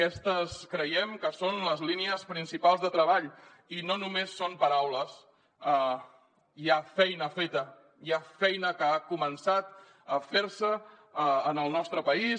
aquestes creiem que són les línies principals de treball i no només són paraules hi ha feina feta hi ha feina que ha començat a fer se en el nostre país